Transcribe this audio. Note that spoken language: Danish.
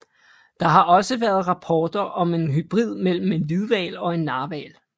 Der har også været rapporter om en hybrid mellem en hvidhval og en narhval